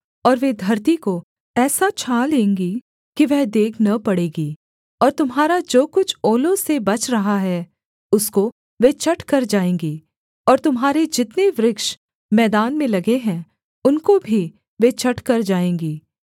और वे धरती को ऐसा छा लेंगी कि वह देख न पड़ेगी और तुम्हारा जो कुछ ओलों से बच रहा है उसको वे चट कर जाएँगी और तुम्हारे जितने वृक्ष मैदान में लगे हैं उनको भी वे चट कर जाएँगी